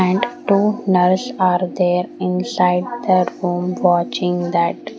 and two nurse are there inside their home watching that --